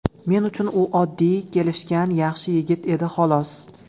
Men uchun u oddiy, kelishgan, yaxshi yigit edi, xolos.